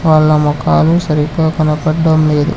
వాళ్ల మొకాలు సరిగ్గా కనపడడం లేదు.